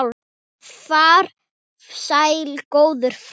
Far sæll góður frændi.